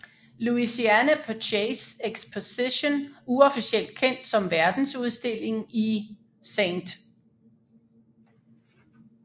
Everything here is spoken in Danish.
Louisiana Purchase exposition uofficielt kendt som Verdensudstillingen i St